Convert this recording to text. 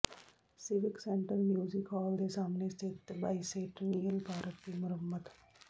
civic centre music hall ਦੇ ਸਾਹਮਣੇ ਸਥਿਤ ਬਾਇਸੇਂਟਨੀਅਲ ਪਾਰਕ ਦੀ ਮੁਰੰਮਤ